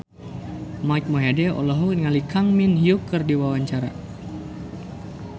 Mike Mohede olohok ningali Kang Min Hyuk keur diwawancara